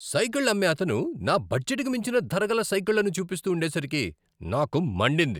సైకిళ్ళు అమ్మే అతను నా బడ్జెట్కి మించిన ధరగల సైకిళ్లను చూపిస్తూ ఉండేసరికి నాకు మండింది.